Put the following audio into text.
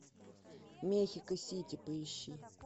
мехико сити поищи